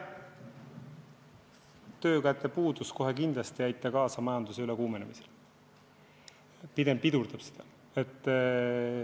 Töökäte puudus kohe kindlasti ei soodusta majanduse ülekuumenemist, pigem pidurdab seda.